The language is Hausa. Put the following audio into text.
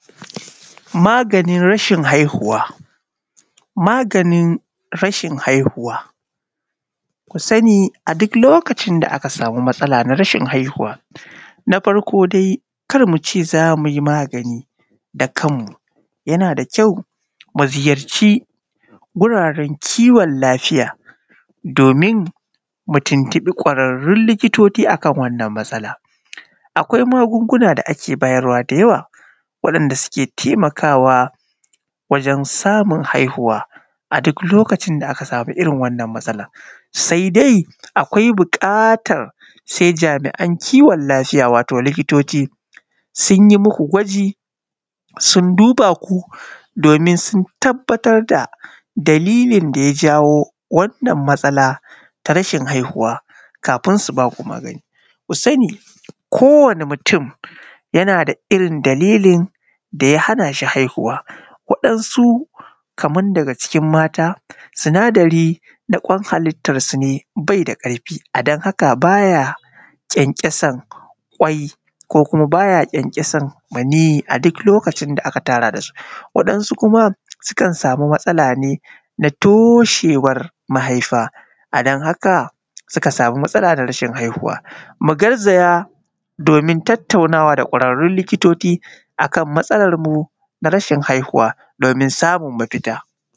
maganin rashin haihuwa maganin rashin haihuwa ku sani duk lokacin da aka samu matsala na rashin haihuwa na farko dai kar mu ce za mu yi magani da kanmu yana da kyau mu ziyarci wuraren kiwon lafiya domin mu tuntuɓi ƙwararrun likitoci a kan wannan matsala akwai magunguna da ake bayarwa da yawa waɗanda suke taimakawa wajen samun haihuwa a duk lokacin da aka samu irin wannan matsalar sai dai akwai buƙatar sai jami’an kiwon lafiya wato likitoci sun yi muku gwaji sun duba ku domin sun tabbatar da dalilin da ya jawo wannan matsala ta rashin haihuwa kafin su ba ku magani ku sani kowane mutum yana da irin dalilin da ya hana shi haihuwa waɗansu kaman daga cikin mata sinadari na ƙwan hallitarsu ne bai da ƙarfi a don haka ba ya ƙyanƙyasan ƙwai ko kuma ba ya ƙyanƙyasan maniyyi a duk lokacin da aka tara da su waɗansu kuma sukan samu matsala ne na toshewar mahaifa a don haka suka samu matsala da rashin haihuwa mu garzaya domin tattaunawa da ƙwararrun likitoci a kan matsalarmu na rashin haihuwa domin samun mafita